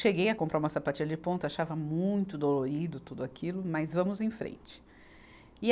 Cheguei a comprar uma sapatilha de ponta, achava muito dolorido tudo aquilo, mas vamos em frente. e